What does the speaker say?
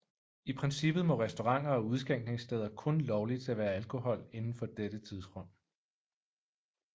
I princippet må restauranter og udskænkningssteder kun lovligt servere alkohol inden for dette tidsrum